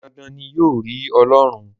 Dandan ni, yóò rí Ọlọ́run.